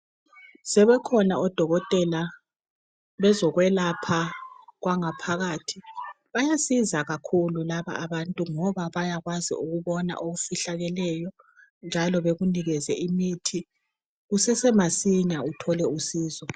Sebekhona odokotela bezokwelapha okwangaphakathi bayasiza kakhulu laba bantu ngoba bayakwazi ukubona okufihlakeleyo njalo bekunikeze imithi kusesemasinya uthole usizo.